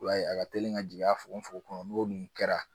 I b'a ye a ka teli ka jigin a fogofogo kɔnɔ n'o nun kɛra